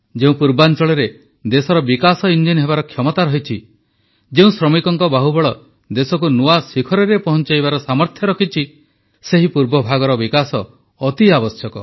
ଯେଉଁ ପୂର୍ବାଂଚଳରେ ଦେଶର ବିକାଶ ଇଂଜିନ ହେବାର କ୍ଷମତା ରହିଛି ଯେଉଁ ଶ୍ରମିକଙ୍କ ବାହୁବଳ ଦେଶକୁ ନୂଆ ଶିଖରରେ ପହଂଚାଇବାର ସାମର୍ଥ୍ୟ ରଖିଛି ସେହି ପୂର୍ବଭାଗର ବିକାଶ ଅତି ଆବଶ୍ୟକ